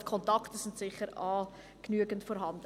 Kontakte sind also sicher genügend vorhanden.